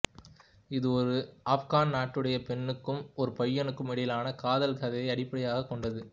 இது ஒரு ஆப்கான் நாடோடிப் பெண்ணுக்கும் ஒரு பையனுக்கும் இடையிலான காதல் கதையை அடிப்படையாகக் கொண்டது